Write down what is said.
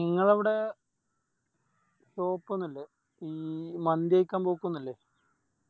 ഇങ്ങളവിടെ Shop ഒന്നുല്ലേ ഈ മന്തി കയിക്കൻ പോക്കൊന്നുല്ലേ